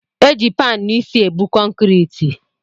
Eji panụ isi ebu kọnkriti